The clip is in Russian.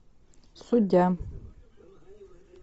судья